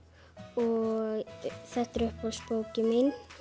og þetta er uppáhaldsbókin mín